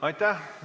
Aitäh!